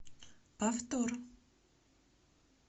повтор